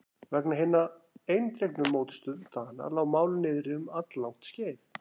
Vegna hinnar eindregnu mótstöðu Dana lá málið niðri um alllangt skeið.